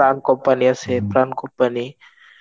প্রাণ Company আছে Pran Company.